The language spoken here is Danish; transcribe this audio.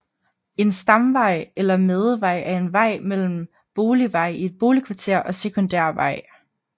En stamvej eller madevej er en vej mellem boligveje i et boligkvarter og sekundærvej